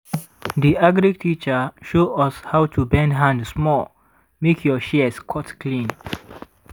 di agric teacher show us how to bend hand small make your shears cut clean.